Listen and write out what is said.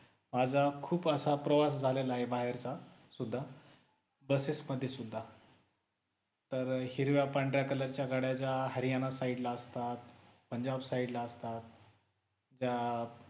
माझा खूप असा प्रवास झालेला आहे बाहेरचा सुद्ध buses मध्ये सुद्धा तर हिरव्या पांढऱ्या color च्या गाड्या ज्या हरियाणा side ला असतात, पंजाब side ला असतात त्या